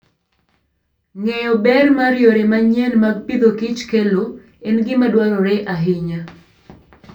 Ng'eyo ber ma yore manyien mag pidhoKich kelo en gima dwarore ahinya.